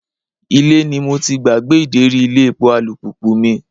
Ilé ni mo ti gbàgbé ideri ilé epo alùpùpù mi.